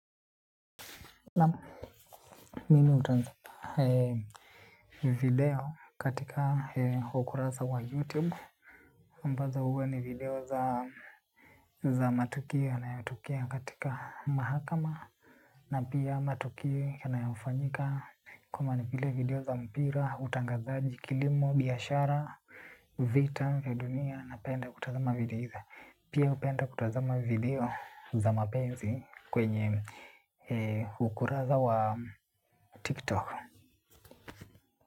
Naam mimi hutazama video katika ukurasa wa youtube ambazo huwa ni video za matukio yanayotokea katika mahakama. Na pia matukio yanayofanyika kama ni video za mpira, utangazaji, kilimo, biashara, vita vya dunia. Napenda kutazama video hizo. Pia hupenda kutazama video za mapenzi kwenye ukurasa wa tiktok.